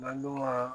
N ka dɔgɔ